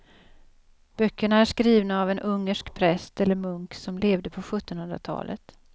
Böckerna är skrivna av en ungersk präst eller munk som levde på sjuttonhundratalet.